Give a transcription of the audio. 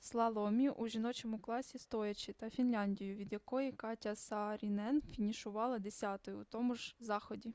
слаломі у жіночому класі стоячи та фінляндію від якої катя саарінен фінішувала десятою у тому ж заході